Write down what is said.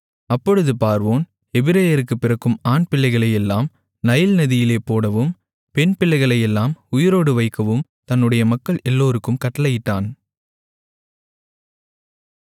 அப்பொழுது பார்வோன் எபிரெயருக்கு பிறக்கும் ஆண்பிள்ளைகளையெல்லாம் நைல் நதியிலே போடவும் பெண்பிள்ளைகளையெல்லாம் உயிரோடு வைக்கவும் தன்னுடைய மக்கள் எல்லோருக்கும் கட்டளையிட்டான்